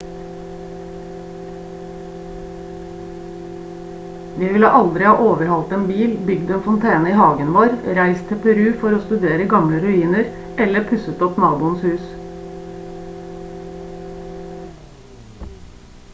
vi ville aldri ha overhalt en bil bygd en fontene i hagen vår reist til peru for å studere gamle ruiner eller pusset opp naboens hus